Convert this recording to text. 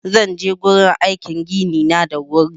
Zan je gurin aikin gini na da wuri